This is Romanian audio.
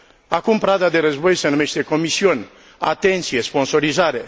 Acum, prada de război de numește comision, atenție, sponsorizare.